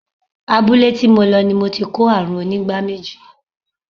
Abúlé tí mo lọ ni mo ti ko àrùn onígbá méjì.